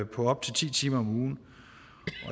på op til ti timer om ugen